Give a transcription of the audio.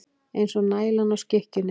Eins og nælan á skikkjunni.